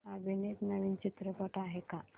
अभिनीत नवीन चित्रपट आहे का